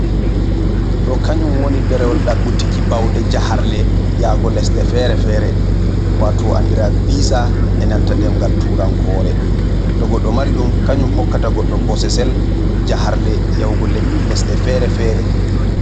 Ɗo kanyum woni ɗerewol ɗaɓɓutiki, bawɗe jaharle yaago lesde fere-fere, waato ɗo anndira visa e nanta ɗemngal turankoore, to goɗɗo mari ɗum, kanyum hokkata goɗɗo bosesel, jaharle yahugo lesɗe fere-fere.